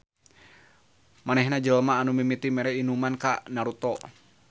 Manehna jelema anu mimiti mere inuman ka Naruto